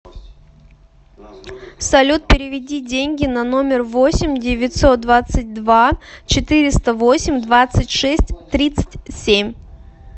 салют переведи деньги на номер восемь девятьсот двадцать два четыреста восемь двадцать шесть тридцать семь